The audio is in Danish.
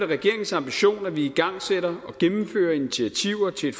regeringens ambition at vi igangsætter og gennemfører initiativer til et